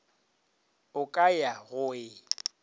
o ka ya go e